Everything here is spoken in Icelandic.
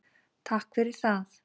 Takk fyrir það.